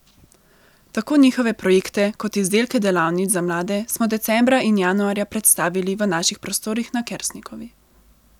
Tako njihove projekte kot izdelke delavnic za mlade smo decembra in januarja predstavili v naših prostorih na Kersnikovi.